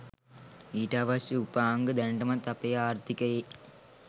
ඊට අවශ්‍ය උපාංග දැනටමත් අපේ ආර්ථිකයේ